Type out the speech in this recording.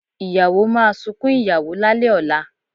Ìyàwó máa sunkún ìyàwó lálẹ̀ ọ̀la